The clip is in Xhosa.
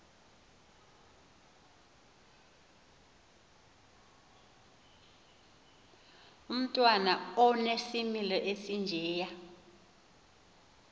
umntwana onesimilo esinjeya